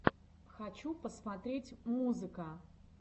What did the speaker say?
хочу посмотреть музыка